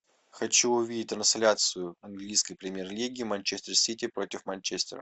хочу увидеть трансляцию английской премьер лиги манчестер сити против манчестера